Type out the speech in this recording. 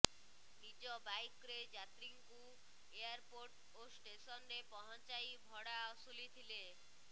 ନିଜ ବାଇକ୍ରେ ଯାତ୍ରୀଙ୍କୁ ଏୟାରପୋର୍ଟ ଓ ଷ୍ଟେସନରେ ପହଞ୍ଚାଇ ଭଡ଼ା ଅସୁଲି ଥିଲେ